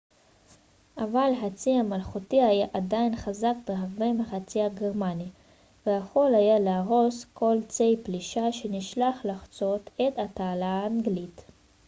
"אבל הצי המלכותי היה עדיין חזק בהרבה מהצי הגרמני "kriegsmarine" ויכול היה להרוס כל צי פלישה שנשלח לחצות את התעלה האנגלית.